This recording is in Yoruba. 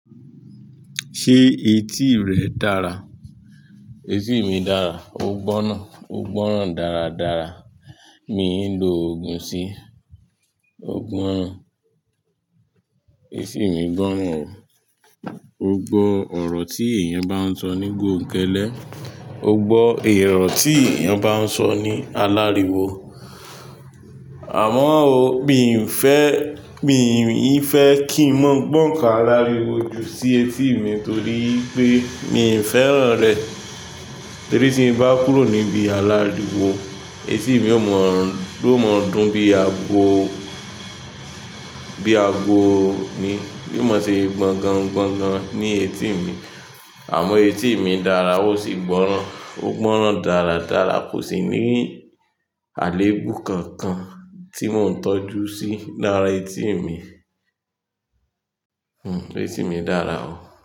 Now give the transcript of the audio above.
Ṣé etí rẹ dára? Etí mi dára, ó gbọ́n ná. Ó gbọ́rán dáradára. Mi n lo òògùn sí i. Ó gbọ́ran etí mi gb'oran o. O gbọ́ ọ̀rọ̀ tí èèyàn bá ń sọ ní gòńkẹlẹ̀, o gbọ́ èrọ̀ tí èèyàn bá ń sọ ní aláriwo. Àmọ́ o, mi n fẹ́, mi n fẹ́ kí n mọ́ gbọ́n nkán aláriwo ju sí etí mi torí pé mi n fẹ́ràn rẹ̀. Torí tí n bá kúrò níbi aláriwo etí mi ó mọ́, ló mọ́ dùn bí aago, bí aago ni. Yóò máa ti gbọ́n gan, gbọ́n gan ní etí mi. Àmọ́ etí mi dára ó sì gbọ́ran. Ó gbọran dáradára. Kò sí ní àléébù kankan tí mò ń tọ́jú sí lára etí mi. Hmm, etí mi dára o.